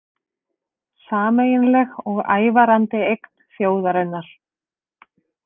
Sameiginleg og ævarandi eign þjóðarinnar